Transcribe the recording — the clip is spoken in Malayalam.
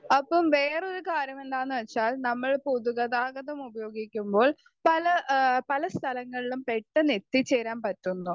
സ്പീക്കർ 1 അപ്പോൾ വേറൊരു കാര്യം എന്താന്ന് വെച്ചാൽ നമ്മൾ പൊതുഗതാഗതം ഉപയോഗിക്കുമ്പോൾ പല ഏഹ് പല സ്ഥലങ്ങളിലും പെട്ടെന്ന് എത്തിച്ചേരാൻ പറ്റുന്നു.